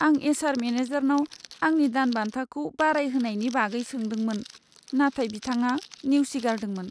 आं एचआर मेनेजारनाव आंनि दानबान्थाखौ बारायहोनायनि बागै सोंदोंमोन, नाथाय बिथाङा नेवसिगारदोंमोन।